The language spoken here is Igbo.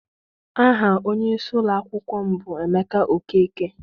Aha onyeisi ụlọakwụkwọ m bụ Emeka Okeke.